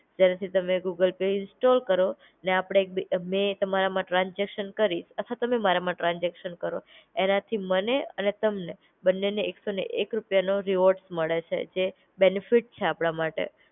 જેનાથી તમે Google Pay install કરો, ને અપડે એક બી મેં તમારામાં ટ્રાન્સઝેકશન કરી અથવા તમે મારા માં ટ્રાન્સઝેકશન કરો, એનાથી મને ને તમને બને ને એક સો ને એક રૂપિયાનો રિવોર્ડ મળે છે જે બેનેફિટ છે આપડા માટે.